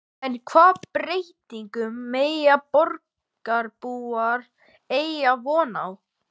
En hvaða breytingum mega borgarbúar eiga von á?